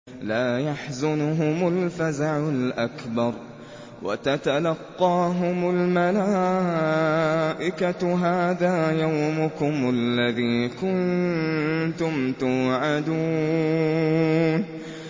لَا يَحْزُنُهُمُ الْفَزَعُ الْأَكْبَرُ وَتَتَلَقَّاهُمُ الْمَلَائِكَةُ هَٰذَا يَوْمُكُمُ الَّذِي كُنتُمْ تُوعَدُونَ